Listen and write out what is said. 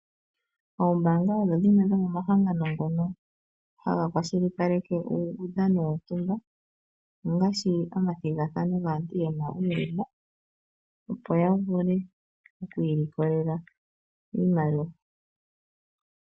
Oombaanga odho dhimwe dhomo mahangano ngono haga kwashilipaleke uudhano wontumba, ngaashi omathigathano gaantu yena uulema opo yavule oku ilikolela iimaliwa.